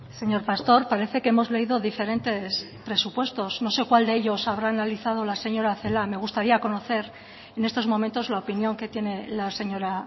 señor pastor parece que hemos leído diferentes presupuesto no sé cuál de ellos habrá analizado la señora celaá me gustaría conocer en estos momentos la opinión que tiene la señora